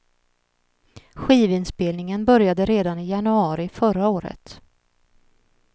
Skivinspelningen började redan i januari förra året.